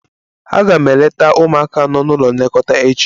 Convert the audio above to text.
Aga m eleta ụmụaka nọ n'ụlọ nlekọta echi